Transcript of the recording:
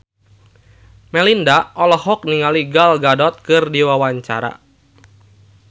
Melinda olohok ningali Gal Gadot keur diwawancara